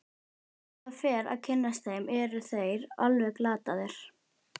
Þegar maður fer að kynnast þeim eru þeir alveg glataðir.